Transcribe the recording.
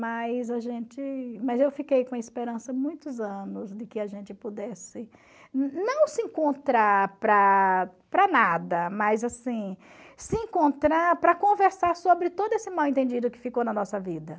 Mas a gente mas eu fiquei com esperança muitos anos de que a gente pudesse não se encontrar para para nada, mas assim se encontrar para conversar sobre todo esse mal entendido que ficou na nossa vida.